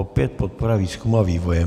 Opět podpora výzkumu a vývoje.